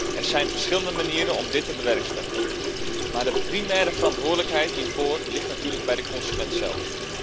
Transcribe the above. Er zijn verschillende manieren om dit te bewerkstelligen, maar de primaire verantwoordelijkheid hiervoor ligt natuurlijk bij de consument zelf.